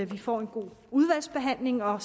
vi får en god udvalgsbehandling og